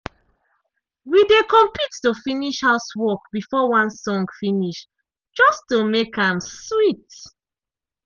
we dey compete to finish housework before one song finish just to make am sweet.